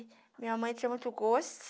E minha mãe tinha muito gosto.